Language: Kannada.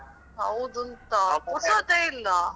ಹೌದುಂತಾ ಪುರ್ಸತ್ತೆ ಇಲ್ಲ.